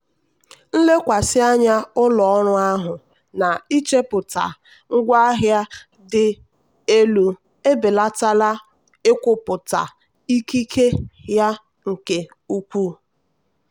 nlekwasị anya ụlọ ọrụ ahụ na-ichepụta ngwaahịa dị elu ebelatala nkwupụta ikike ya nke ukwuu.